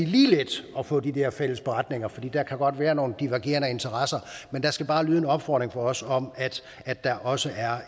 lige let at få de her fælles beretninger for der kan godt være nogle divergerende interesser men der skal bare lyde en opfordring fra os om at der også er